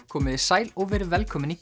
komiði sæl og verið velkomin í